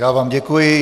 Já vám děkuji.